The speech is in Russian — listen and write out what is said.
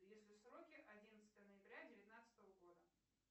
если сроки одиннадцатого ноября девятнадцатого года